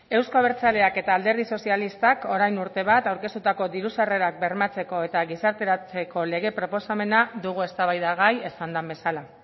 euzko abertzaleak eta alderdi sozialistak orain urte bat aurkeztutako diru sarrerak bermatzeko eta gizarteratzeko lege proposamena dugu eztabaidagai esan den bezala